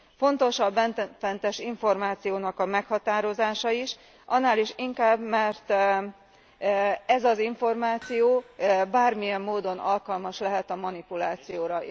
Fontos a bennfentes információnak a meghatározása is, annál is inkább, mert ez az információ bármilyen módon alkalmas lehet a manipulációra.